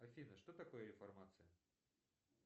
афина что такое реформация